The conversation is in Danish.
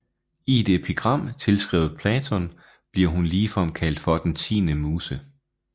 I et epigram tilskrevet Platon bliver hun ligefrem kaldt for den tiende muse